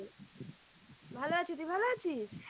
ভালো আছি তুই ভালো আছিস?